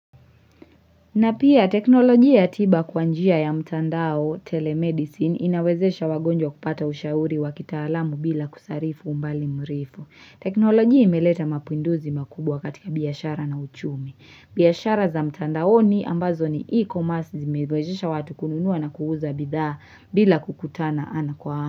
Na pia teknolojia ya tiba kwa njia ya mtandao telemedicine inawezesha wagonjwa kupata ushauri wa kitalamu bila kusarifu umbali mrefu. Teknolojia imeleta mapinduzi makubwa katika biashara na uchumi. Biashara za mtandaoni ambazo ni e-commerce zimewezesha watu kununuwa na kuuza bidhaa bila kukutana ana kwa ana.